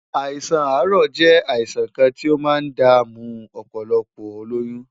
Àìsàn àárọ̀ jẹ́ àìsàn kan tí ó máa ń dààmú ọ̀pọ̀lọpọ̀ olóyún.